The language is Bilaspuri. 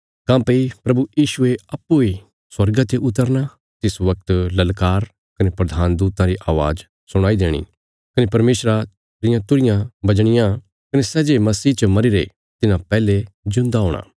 काँह्भई प्रभु यीशुये अप्पूँ इ स्वर्गा ते उतरना तिस बगत ललकार कने प्रधान दूतां री अवाज़ सुणाई देणी कने परमेशरा रिया तुरहियां बजणियां कने सै जे मसीह च मरीरे तिन्हां पैहले जिऊंदेयां हूणा